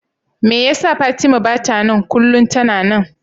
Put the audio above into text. Me yasa Fatima bata nan? kullum tana nan.